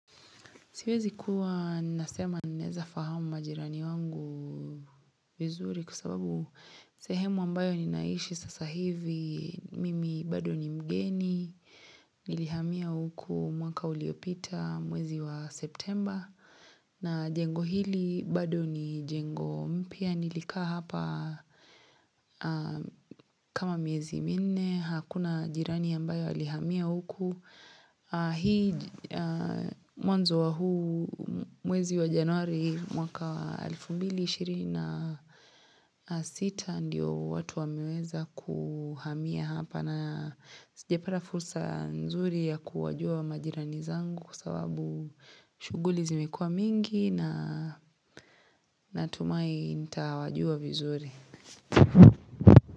Siwezi kuwa nasema ninaweza fahamu majirani wangu vizuri kwa sababu sehemu ambayo ninaishi sasa hivi mimi bado ni mgeni nilihamia huku mwaka uliopita mwezi wa septemba na jengo hili bado ni jengo mpya nilikaa hapa kama miezi minne hakuna jirani ambaye alihamia huku. Hii mwanzo wa huu mwezi wa januari mwaka wa elfu mbili ishirini na sita ndio watu wameweza kuhamia hapa na sijapata fursa nzuri ya kuwajua majirani zangu kwa sababu shuguli zimekua mingi na natumai nita wajua vizuri.